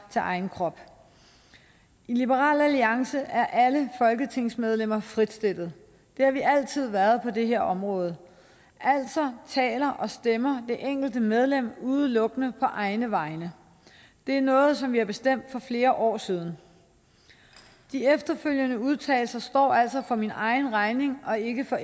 til egen krop i liberal alliance er alle folketingsmedlemmer frit stillet det har vi altid været på det her område altså taler og stemmer det enkelte medlem udelukkende på egne vegne det er noget som vi har bestemt for flere år siden de efterfølgende udtalelser står altså for min egen regning og ikke for